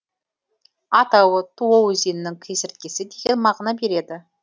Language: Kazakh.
атауы туо өзенінің кесірткесі деген мағына береді